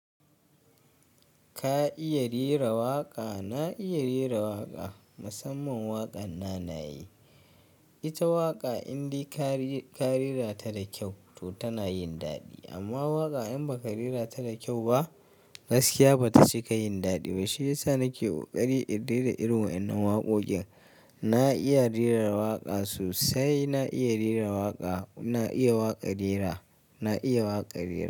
Ka iya rera waƙa? Na iya rera waƙa, musamman waƙan nanaye. Ita waƙa inde ka reka rera ta da kyau to tana yin daɗi amma waƙa in ba ka rera ta da kyau ba gaskiya bata cika yin daɗi ba. Shi yasa nake koƙari in dena irin wayannan waƙoƙin. Na iya rera waƙa sosai, na iya rera waƙa, ina iya waƙa rera, na iya waƙa rera.